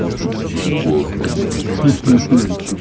тут бесплатно ха-ха